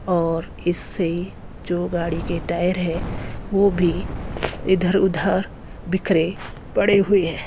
और इससे जो गाड़ी के टायर है वो भी इधर उधर बिखरे पड़े हुए हैं।